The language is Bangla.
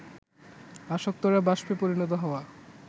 আসক্তরা বাষ্পে পরিণত হওয়া